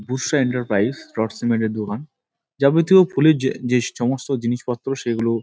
বুশ্য enterprise rod cement -এর দোকান যাবতীয় ফুলের যে যে সমস্ত জিনিসপত্র সেগুলো--